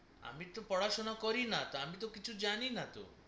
আমি তো পড়া সোনা করি না আমি তো কিছু জানি না তো